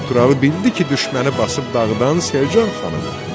Qanturalı bildi ki, düşməni basıb dağıdan Selcan xanımdır.